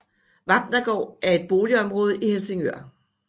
Vapnagaard er et boligområde i Helsingør